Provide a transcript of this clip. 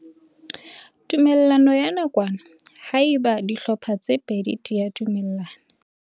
Tumellano ya nakwana ha eba dihlopha tse pedi di dumellana.